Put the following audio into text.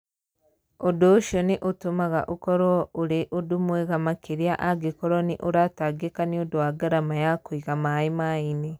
Ũndũ ũcio nĩ ũtũmaga ũkorũo ũrĩ ũndũ mwega makĩria angĩkorũo nĩ ũratangĩka nĩ ũndũ wa ngarama ya kũiga maĩ maĩ-inĩ.